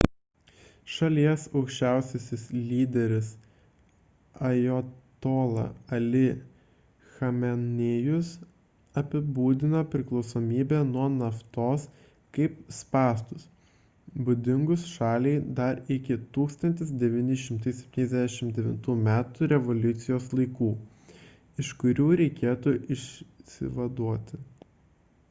šalies aukščiausiasis lyderis ajatola ali chamenėjus apibūdino priklausomybę nuo naftos kaip spąstus būdingus šaliai dar iki 1979 m revoliucijos laikų iš kurių reikėtų išsivaduoti